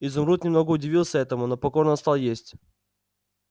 изумруд немного удивился этому но покорно стал есть